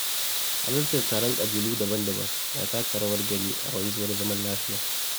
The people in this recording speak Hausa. Halartar taron ƙabilu daban-daban na taka rawar gani a wanzuwar zaman lafiya